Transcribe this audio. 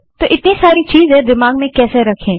तो इतनी सारी चीज़ें हम दिमाग में कैसे रखें